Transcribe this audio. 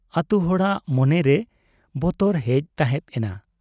ᱟᱹᱛᱩ ᱦᱚᱲᱟᱜ ᱢᱚᱱᱨᱮ ᱵᱚᱛᱚᱨ ᱦᱮᱡ ᱛᱟᱦᱮᱸᱰ ᱮᱱᱟ ᱾